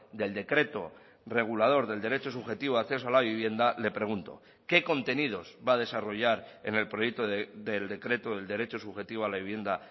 del decreto regulador del derecho subjetivo a acceso a la vivienda le pregunto qué contenidos va a desarrollar en el proyecto del decreto del derecho subjetivo a la vivienda